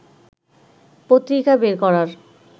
পত্রিকা বের করার